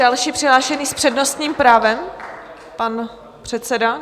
Další přihlášený s přednostním právem - pan předseda?